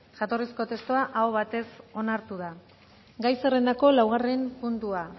jatorrizko testua aho batez onartu da gai zerrendako laugarren puntua